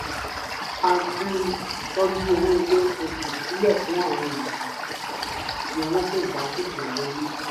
ó máa ń tọ́jú owó ilé oṣooṣù sílẹ̀ fún àwọn ìgbà tí owó kò bá tètè wọlé